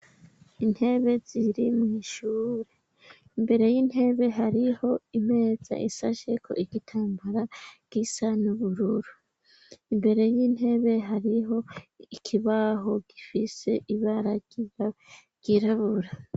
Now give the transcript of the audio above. Intebe ziri mu ishure imbere y'intebe hariho imeza ishasheko igitambara gisa n'ubururu. Imbere y'intebe hariho ikibaho gifise ibara ryirabura.